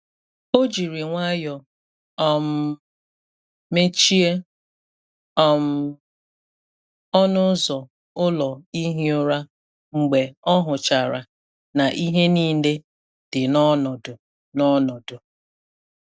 Ọ jiri nwayọọ um mechie um ọnụ ụzọ ụlọ ihi ụra mgbe ọ hụchara na ihe niile dị n’ọnọdụ. n’ọnọdụ.